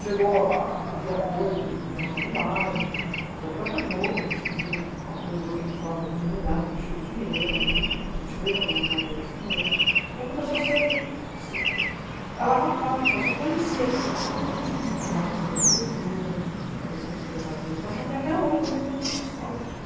Chegou a pedir apoio do jornal de bairro, da própria Globo, a gente pediu apoio daquele quadro da comunidade, do Chico Pinheiro, a gente fez algumas matérias com eles, então começou a se alavancar, o pessoal conhecer, chamar a atenção da prefeitura, a atenção do secretário da Educação, que até hoje lá dentro não tem uma escola.